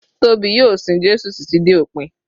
Tóbi yóò sin Jésù títí dé òpin.